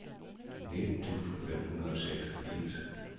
nitten tusind fem hundrede og seksogfirs